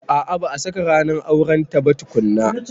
A a ba a saka ranar aurenta ba tukunna.